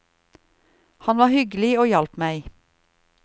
Han var hyggelig og hjalp meg.